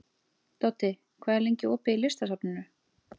Doddi, hvað er lengi opið í Listasafninu?